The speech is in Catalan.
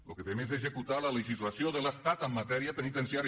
lo que fem és executar la legislació de l’estat en matèria penitenciària